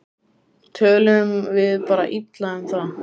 Tölum við bara illa um það?